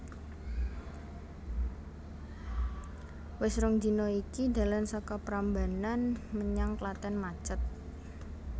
Wis rong dina iki dalan saka Prambanan menyang Klaten macet